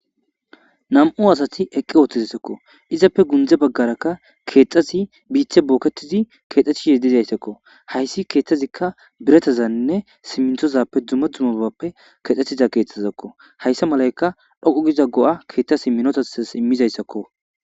Nam'u asati eqqi ooththizsakko izappe gundze baggarakka keexxasi biithe booketizi keexxathi yedidayssakko hayssi keeththazikka biretazanne simminthozappe duma dzumabappe kexxetiza keetthazakko hayssa malaykka dhoqu giza go'a keeththasi minotasas immizayssakko